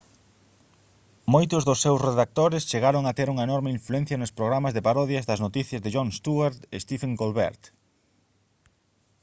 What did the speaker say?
moitos dos seus redactores chegaron a ter unha enorme influencia nos programas de parodias das noticias de jon stewart e stephen colbert